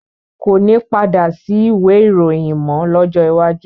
Koni padà sí ìwé ìròyìn mọ lọ́jọ́ iwájú